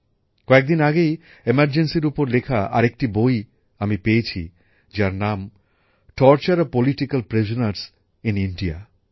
কয়েকদিন আগেই জরুরী অবস্থার ওপর লেখা আরেকটি বই আমি পেয়েছি যার নাম torture of political prisoners in India